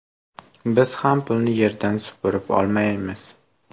Biz ham pulni yerdan supurib olmaymiz.